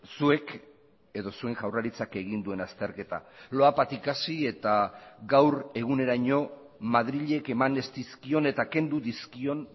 zuek edo zuen jaurlaritzak egin duen azterketa loapatik hasi eta gaur eguneraino madrilek eman ez dizkion eta kendu dizkion